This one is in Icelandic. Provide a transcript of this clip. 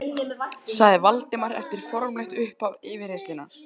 Og þú Júlía, með þennan hatt, úff, við